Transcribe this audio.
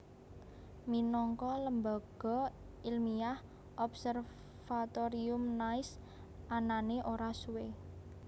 Minangka lembaga ilmiah Observatorium Nice anané ora suwé